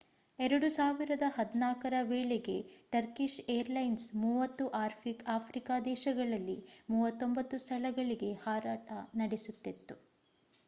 2014 ರ ವೇಳೆಗೆ Turkish airlines 30 Africa ದೇಶಗಳಲ್ಲಿ 39 ಸ್ಥಳಗಳಿಗೆ ಹಾರಾಟ ನಡೆಸುತ್ತಿತ್ತು